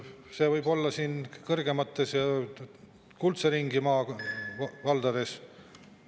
See võib-olla kõrgema kuldse ringi maavaldades ...